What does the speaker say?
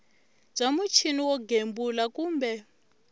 bya muchini wo gembula kumbe